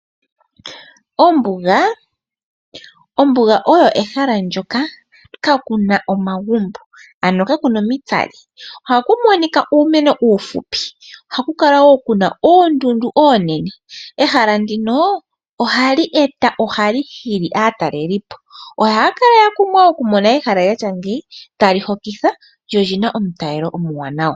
Ombuga olyo ehala ndyoka kaa li na omagumbo. Oha mu adhika uumeno uuhupi nosho woo oondundu oonene. Ehala ndino oha li hili aatalelipo na ohaa kala ya kumwa okumona ehala lyoludhi nduka oshoka ohali hokitha na olyi na omutalelo omuwaanawa.